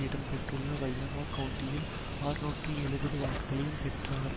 இடம்பெற்றுள்ள வையனோ கவுண்டியில் அறுநூற்று எழுபது வாக்குகளையும் பெற்றார்